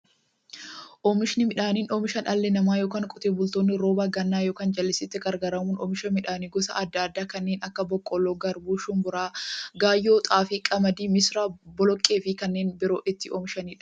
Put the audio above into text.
Oomishni midhaanii, oomisha dhalli namaa yookiin Qotee bultoonni roba gannaa yookiin jallisiitti gargaaramuun oomisha midhaan gosa adda addaa kanneen akka; boqqoolloo, garbuu, shumburaa, gaayyoo, xaafii, qamadii, misira, boloqqeefi kanneen biroo itti oomishamiidha.